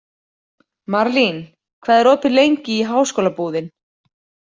Marlín, hvað er opið lengi í Háskólabúðin?